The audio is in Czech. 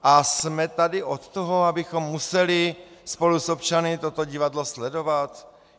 A jsme tady od toho, abychom museli spolu s občany toto divadlo sledovat?